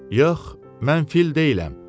Yox, mən fil deyiləm.